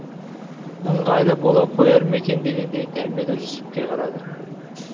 ыңғайлы бола қояр ма екен дегендей дәмелі жүсіпке қарады